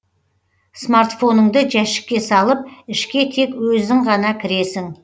смартфоныңды жәшікке салып ішке тек өзің ғана кіресің